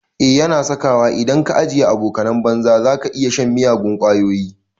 Eh yana saka wa, idan ka ajiye abokanan banza zaka iya shan miyagun ƙwayoyi